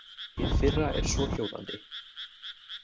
Hið fyrra er svohljóðandi.